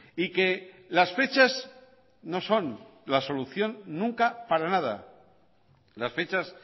y que las fechas no son la solución nunca para nada las fechas